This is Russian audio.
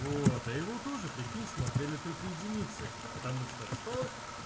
вот я его тоже прикинь смотрели только единицы потому что что